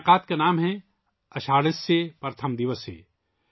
اس تقریب کا نام ہے 'آشا ڑھیہ پرتھم دیوس'